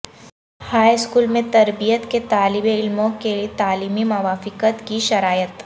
high school میں تربیت کے طالب علموں کے تعلیمی موافقت کی شرائط